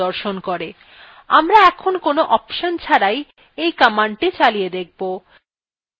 আমরা এখন কোন অপশন ছাড়াই এই command চালিয়ে দেখব